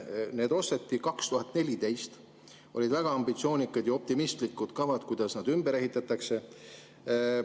Need osteti 2014. aastal ja siis olid väga ambitsioonikad ja optimistlikud kavad, kuidas need ümber ehitatakse.